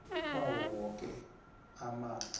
kwawo woke amafa